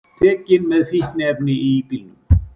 Tekin með fíkniefni í bílnum